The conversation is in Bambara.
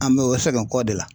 An mɛ o sɛgɛn kɔ de la.